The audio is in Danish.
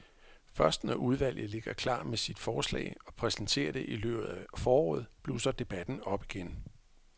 Først når udvalget ligger klar med sit forslag og præsenterer det i løbet af foråret, blusser debatten op igen.